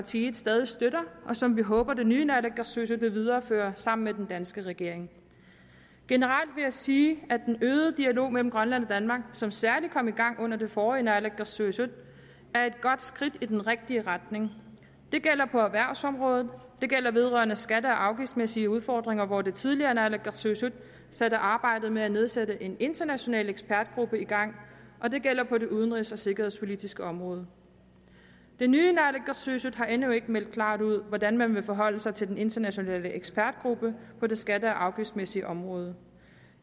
side stadig støtter og som vi håber at det nye naalakkersuisut vil videreføre sammen med den danske regering generelt vil jeg sige at den øgede dialog mellem grønland og danmark som særlig kom i gang under det forrige naalakkersuisut er et godt skridt i den rigtige retning det gælder på erhvervsområdet det gælder vedrørende skatte og afgiftsmæssige udfordringer hvor det tidligere naalakkersuisut satte arbejdet med at nedsætte en international ekspertgruppe i gang og det gælder på det udenrigs og sikkerhedspolitiske område det nye naalakkersuisut har endnu ikke meldt klart ud hvordan man vil forholde sig til den internationale ekspertgruppe på det skatte og afgiftsmæssige område